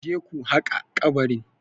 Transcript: Je ku haƙa kabarin?